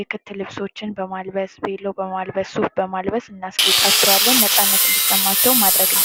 የክት ልስሶችን በማልበስ ቬሎ በማልበስ ሱፍ በማልበስ እናስጌጣቸዋለን ነፃነት እንዲሰማቸው ማድረግ እንችላለን።